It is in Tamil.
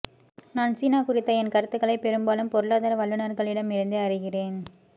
நான் சீனா குறித்த என் கருத்துக்களை பெரும்பாலும் பொருளாதார வல்லுனர்களிடம் இருந்தே அறிகிறேன்